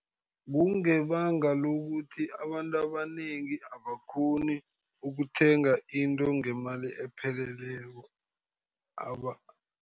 Kungebanga lokuthi abantu abanengi abakghoni ukuthenga into ngemali epheleleko